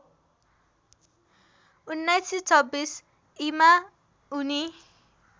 १९२६ ईमा उनी